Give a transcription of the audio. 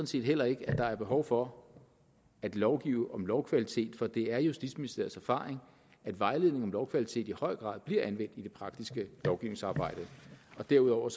set heller ikke at der er behov for at lovgive om lovkvalitet for det er justitsministeriets erfaring at vejledningen om lovkvalitet i høj grad bliver anvendt i det praktiske lovgivningsarbejde derudover